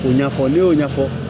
K'o ɲɛfɔ ne y'o ɲɛfɔ